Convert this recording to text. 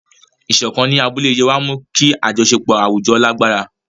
Ìṣọ̀kan ní abúlé Yewa mú kí àjọṣepọ̀ àwùjọ lágbára.